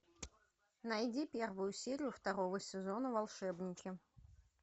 найди первую серию второго сезона волшебники